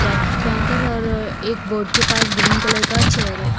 Cap पहन कर और एक बोर्ड के पास ग्रीन कलर का चेयर है।